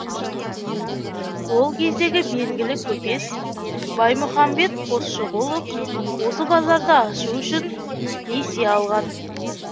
ол кездегі белгілі көпес баймұхамбет қосшығұлов осы базарды ашу үшін несие алған